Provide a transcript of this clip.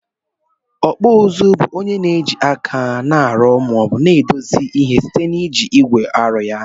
Okpụ ụzụ bu onye na eji aka na arụ ma na edozi ihe site na iji igwe arụ ya.